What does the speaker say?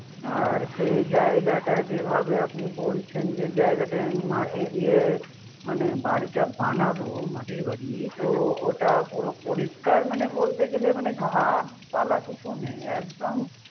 আর সেই জায়গা যেভাবে আপনি বলছেন যে জায়গাটায় আমি মাটি দিয়ে মানে বাড়িটা বানাবো মাটির বাড়ি তো ওটা পরিষ্কার মানে বলতে গেলে ঘাস পালা কিছু নেই। একদম